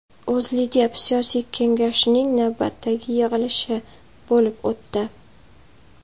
O‘zLiDeP Siyosiy Kengashining navbatdagi yig‘ilishi bo‘lib o‘tdi.